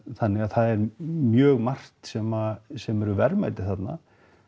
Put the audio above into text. þannig að það er mjög margt sem sem eru verðmæti þarna